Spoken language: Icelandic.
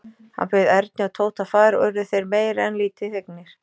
Hann bauð Erni og Tóta far og urðu þeir meira en lítið fegnir.